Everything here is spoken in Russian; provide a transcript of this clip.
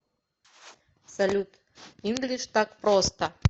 салют инглиш так просто